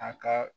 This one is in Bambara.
A ka